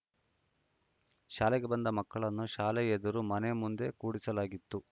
ಶಾಲೆಗೆ ಬಂದ ಮಕ್ಕಳನ್ನು ಶಾಲೆ ಎದುರು ಮನೆ ಮುಂದೆ ಕೂಡಿಸಲಾಗಿತ್ತು